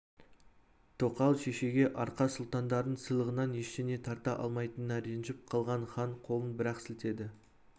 тоқал шешеге арқа сұлтандарының сыйлығынан ештеңе тарта алмайтынына ренжіп қалған хан қолын бірақ сілтеді